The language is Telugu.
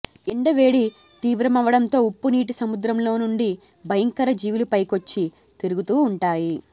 ఎండ వేడి తీవ్రమవడంతో ఉప్పు నీటి సముద్రంలోనుండి భయకర జీవులు పైకొచ్చి తిరుగుతూవుంటాయి